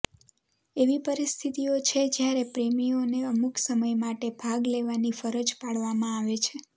એવી પરિસ્થિતિઓ છે જ્યારે પ્રેમીઓને અમુક સમય માટે ભાગ લેવાની ફરજ પાડવામાં આવે છે